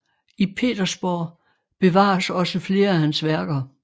I Petersborg bevares også flere af hans værker